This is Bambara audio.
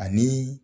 Ani